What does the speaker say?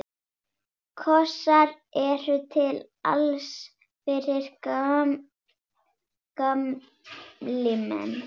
Kossar eru til alls fyrst, gamli minn.